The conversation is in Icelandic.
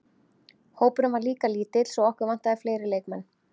Hópurinn var líka lítill svo okkur vantaði fleiri leikmenn.